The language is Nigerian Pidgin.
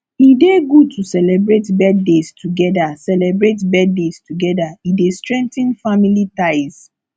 e dey good to celebrate birthdays together celebrate birthdays together e dey strengthen family ties